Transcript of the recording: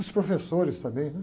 Os professores também, né?